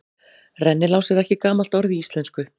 Rennilás er ekki gamalt orð í íslensku.